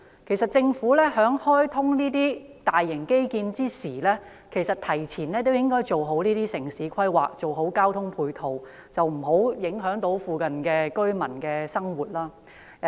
其實，這些大型基建開通之前，政府應該提前做好規劃及交通配套，避免附近居民的生活受到影響。